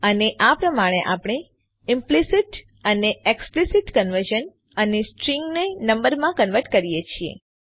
અને આ પ્રમાણે આપણે ઈમ્પ્લીસીટ અને એક્સપ્લીસિટ કન્વર્ઝન અને સ્ટ્રીંગને નંબરમાં કન્વર્ટ કરીએ છીએ